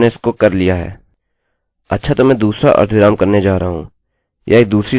अच्छा तो मैं दूसरा अर्धविराम करने जा रहा हूँ यह एक दूसरी सामान्य एररerrorहै